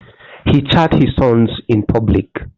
He chants his songs in public.